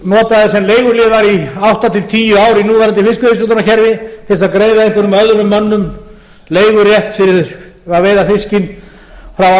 eru notaðir sem leiguliðar í átta til tíu ár í núverandi fiskveiðistjórnarkerfi til að greiða einhverjum öðrum mönnum leigurétt fyrir að veiða fiskinn frá